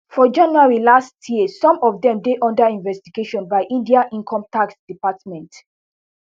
for january last year some of dem dey under investigation by india incometax department